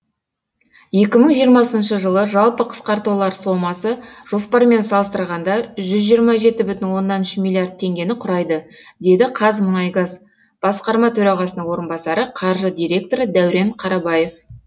екі мың жиырмасыншы жылы жалпы қысқартулар сомасы жоспармен салыстырғанда жүз жиырма жеті бүтін оннан үш миллиард теңгені құрайды деді қазмұнайгаз басқарма төрағасының орынбасары қаржы директоры дәурен қарабаев